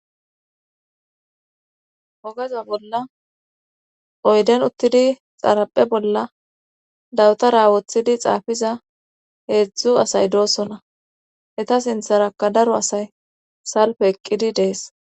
ogaza bolla oyden uttidi xaraphe bolla dawtara woththidi xaafiza heedzdzu asay doosona eta sintharaka daro asay salpe eqqidi dees